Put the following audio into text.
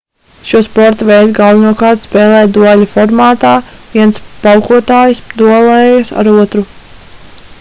šo sporta veidu galvenokārt spēlē dueļa formātā viens paukotājs duelējas ar otru